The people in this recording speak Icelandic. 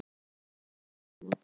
Var það skömmu eftir aldamót.